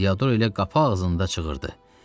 Diador elə qapı ağzında çığırdı: